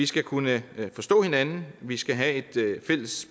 skal kunne forstå hinanden vi skal have et fælles